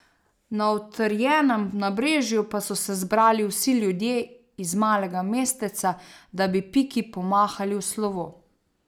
Na utrjenem nabrežju pa so se zbrali vsi ljudje iz malega mesteca, da bi Piki pomahali v slovo.